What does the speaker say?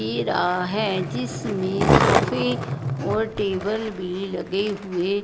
इ रहा है जिसमें सोफे और टेबल भी लगे हुए--